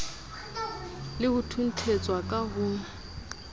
le ho thunthetswa ka ho